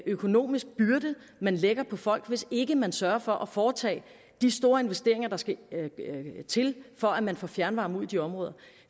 økonomisk byrde man lægger på folk hvis ikke man sørger for at foretage de store investeringer der skal til for at man får fjernvarme ud i de områder